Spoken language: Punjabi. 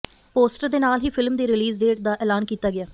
ਪੋਸਟਰ ਦੇ ਨਾਲ ਹੀ ਫਿਲਮ ਦੀ ਰਿਲੀਜ਼ ਡੇਟ ਦਾ ਐਲਾਨ ਕੀਤਾ ਗਿਆ